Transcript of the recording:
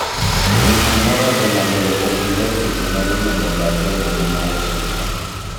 Miyo moro otemo goyo obila e seche ma iriembo gache e boma ma Washington